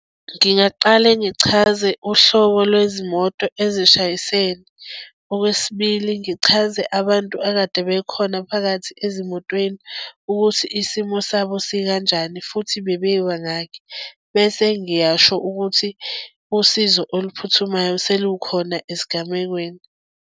Ngingaqale ngichaze uhlobo lwezimoto ezishayisene. Okwesibili, ngichaze abantu ekade bekhona phakathi ezimotweni, ukuthi isimo sabo sikanjani futhi bebebangaki. Bese ngiyasho ukuthi usizo oluphuthumayo selukhona esigamekweni.